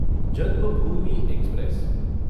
Janmabhoomi express